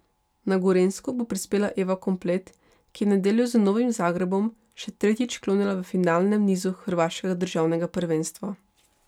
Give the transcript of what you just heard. Na Gorenjsko bo prispela Eva Komplet, ki je v nedeljo z Novim Zagrebom še tretjič klonila v finalnem nizu hrvaškega državnega prvenstva.